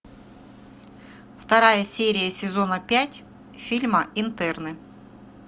вторая серия сезона пять фильма интерны